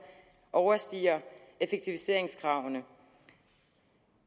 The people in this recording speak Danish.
overstiger effektiviseringskravene